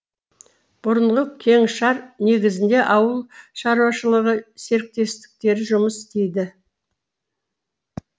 бұрынғы кеңшар негізінде ауыл шаруашылығы серіктестіктері жұмыс істейді